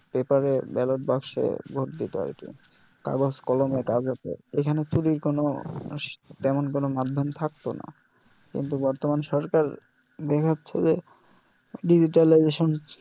পেপারে ballot বাক্সে ভোট দিতো আর কি কাগজ কলমে এখানে চুরির কোনও মাধ্যাম থাকতো না কিন্তু বর্তমান সরকার দেখা যাছে যে digitaligatition